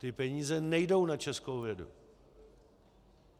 Ty peníze nejdou na českou vědu.